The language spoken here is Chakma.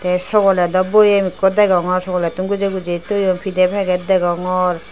te sogoledo boem ekko degongor sogolettun guje guje toyon pide peget degongor.